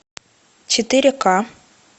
четыре ка